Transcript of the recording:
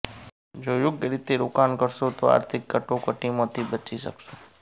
જો યોગ્ય રીતે રોકાણ કરશો તો આર્થિક કટોકટીમાંથી બચી શકશો